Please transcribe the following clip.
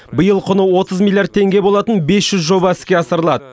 биыл құны отыз миллиард теңге болатын бес жүз жоба іске асырылады